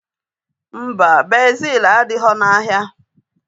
Mba, bezil adighọ n'ahịa